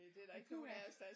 Nej puha